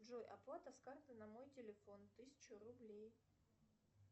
джой оплата с карты на мой телефон тысяча рублей